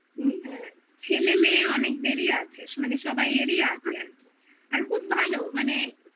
ছেলে মেয়ে অনেক দেরি আছে মানে সবাই এরই আছে আর কি আর খুব ভালো মানে